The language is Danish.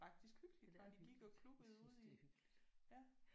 Ja det er hyggeligt. Jeg synes det er hyggeligt